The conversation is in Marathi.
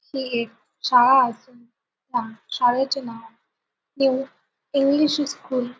ही एक शाळा असुन त्या शाळेचे नाव न्यू इंग्लिश स्कुल --